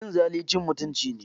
Cin zali cin mutunci ne.